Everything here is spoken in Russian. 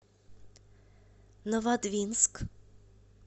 новодвинск